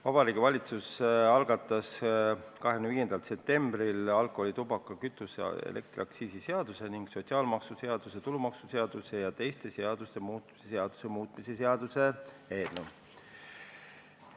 Vabariigi Valitsus algatas 25. septembril alkoholi-, tubaka-, kütuse- ja elektriaktsiisi seaduse ning sotsiaalmaksuseaduse, tulumaksuseaduse ja teiste seaduste muutmise seaduse muutmise seaduse eelnõu.